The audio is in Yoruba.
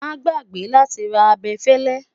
má gbàgbé láti rà abefele